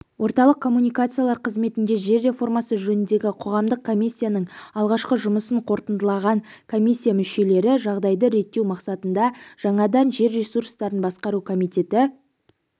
орталық коммуникациялар қызметінде жер реформасы жөніндегі қоғамдық комиссияның алғашқы жұмысын қорытындылаған комиссия мүшелері жағдайды реттеу мақсатында жаңадан жер ресурстарын басқару комитеті